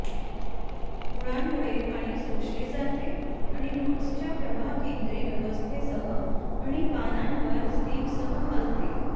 मुळांमुळे पाणी शोषले जाते आणि रूट्सच्या प्रवाहकेंद्री व्यवस्थेसह आणि पानांवर स्टेमसह हलते